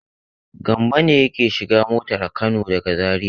Gambo ne yake shiga motar Kano daga Zariya.